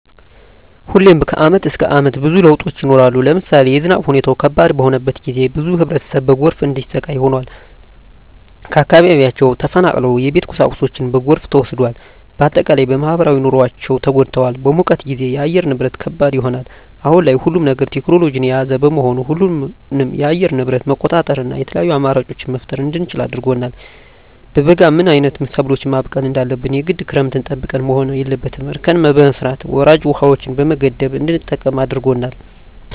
ሁሌም ከአመት እስከ አመት ብዙ ለውጦች ይኖራሉ። ለምሳሌ የዝናብ ሁኔታው ከባድ በሆነበት ጊዜ ብዙ ህብረተሰብ በጎርፍ እንዲሰቃይ ሆኗል። ከአካባቢያቸው ተፈናቅለዋል የቤት ቁሳቁሳቸው በጎርፍ ተወስዷል። በአጠቃላይ በማህበራዊ ኑሯቸው ተጎድተዋል። በሙቀት ጊዜም የአየር ንብረት ከባድ ይሆናል። አሁን ላይ ሁሉም ነገር ቴክኖሎጅን የያዘ በመሆኑ ሁሉንም የአየር ንብረት መቆጣጠር እና የተለያዪ አማራጮች መፍጠር እንድንችል አድርጎናል። በበጋ ምን አይነት ሰብሎችን ማብቀል እንዳለብን የግድ ክረምትን ጠብቀን መሆን የለበትም እርከን በመስራት ወራጅ ውሀዎችን በመገደብ እንድንጠቀም አድርጎናል።